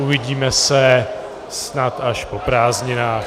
Uvidíme se snad až po prázdninách.